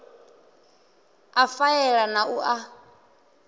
a faela na u a